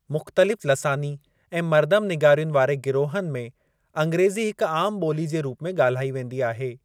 मुख़्तलिफ़ लसानी ऐं मरदमनिगारियुनि वारे गिरोहनि में अंग्रेजी हिकु आम ॿोली जे रूप में ॻाल्हाई वेंदी आहे।